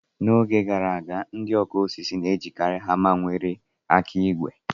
N'oge gara aga, ndị ọkụ osisi na-ejikari hama ndị nwere aka ígwè.